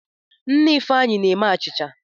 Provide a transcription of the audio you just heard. Nne Ifeanyi na-eme achicha.